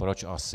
Proč asi?